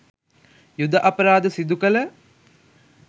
යුධ අපරාධ සිදුකළ